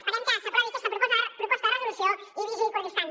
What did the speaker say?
esperem que s’aprovi aquesta proposta de resolució i biji kurdistan